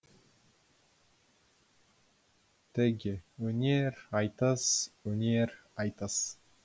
теги өнер айтыс өнер айтыс